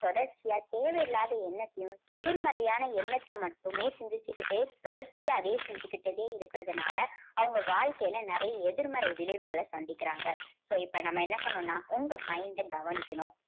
தொடர்ச்சியா தேவையில்லாத எண்ணத்தையும் எதிர்மறையான எண்ணத்தை மட்டுமே சிந்திச்சுக்கிட்டே தொடர்ச்சியா அதையே சிந்திச்சுக்கிட்டே இருக்கறதுனால அவங்க வாழ்க்கையில நிறைய எதிர்மறை விளைவுகளை சந்திக்கிறாங்க. இப்போ இப்போ நம்ம என்ன பண்ணணும்னா உங்க mind அ கவனிக்கணும்.